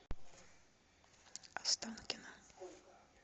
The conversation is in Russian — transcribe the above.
останкино